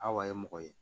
A wa ye mɔgɔ ye